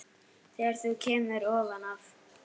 Þegar þú kemur ofan af